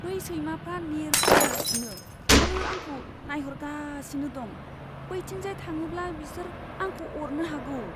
बै सैमाफ्रा नेरगासिनो आरो आंखौ नायहरगासिनो दं। बैथिंजाय थाङोब्ला बिसोर आंखौ अरनो हागौ।